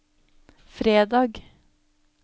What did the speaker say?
fredag